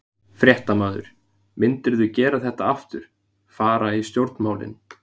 Fréttamaður: Myndirðu gera þetta aftur, fara í stjórnmálin?